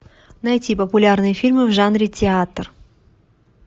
найти популярные фильмы в жанре театр